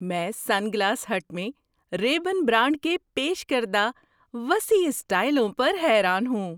میں sunglass hut میں Ray Ban brand کے پیش کردہ وسیع اسٹائلوں پر حیران ہوں۔